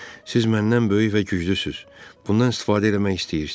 Siz məndən böyük və güclüsüz, bundan istifadə eləmək istəyirsiz.